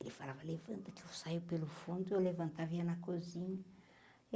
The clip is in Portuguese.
Ele falava, levanta, que eu saio pelo fundo, eu levantava e ia na cozinha.